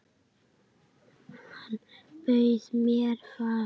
Hann bauð mér far.